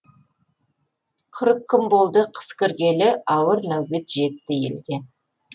қырық күн болды қыс кіргелі ауыр нәубет жетті елге